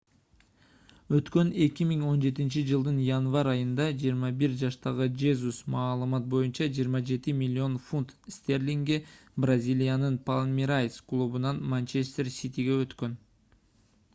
өткөн 2017-жылдын январь айында 21 жаштагы жезус маалымат боюнча 27 миллион фунт стерлингге бразилиянын палмерайс клубунан манчестер ситиге өткөн